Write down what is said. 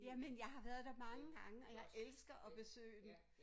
Jamen jeg har været der mange gange og jeg elsker at besøge den